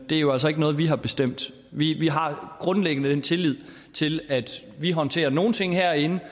er jo altså ikke noget vi har bestemt vi har grundlæggende tillid til at vi håndterer nogle ting herinde